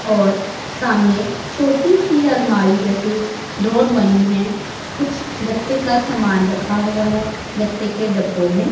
और सामने छोटी सी अलमारी जैसी ड्रॉअर मनी है। कुछ गत्ते का समान रखा हुआ है गत्ते के डब्बों मे--